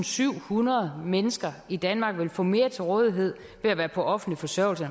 syvhundrede mennesker i danmark vil få mere til rådighed ved at være på offentlig forsørgelse